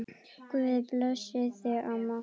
Guð blessi þig, amma.